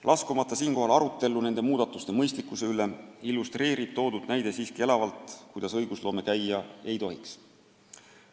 Ma ei taha siinkohal laskuda arutellu nende muudatuste mõistlikkuse üle, aga see näide illustreerib elavalt, kuidas õigusloome käia ei tohiks.